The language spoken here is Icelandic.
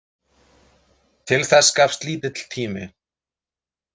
Til þess gafst lítill tími.